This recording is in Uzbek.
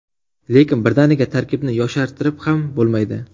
Lekin birdaniga tarkibni yoshartirib ham bo‘lmaydi.